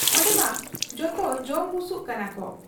ᱚᱱᱰᱮᱢᱟ ᱡᱚᱛᱚ ᱡᱚᱢ ᱵᱩᱥᱩᱵ ᱠᱟᱱᱟᱠᱚ ᱾